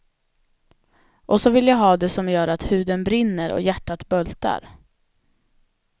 Och så vill jag ha det som gör att huden brinner, och hjärtat bultar.